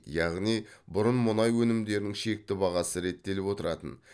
яғни бұрын мұнай өнімдерінің шекті бағасы реттеліп отыратын